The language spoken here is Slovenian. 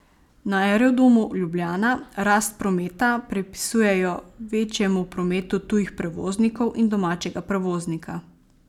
Na Aerodromu Ljubljana rast prometa pripisujejo večjemu prometu tujih prevoznikov in domačega prevoznika.